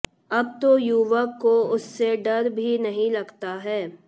अब तो युवक को उससे डर भी नहीं लगता है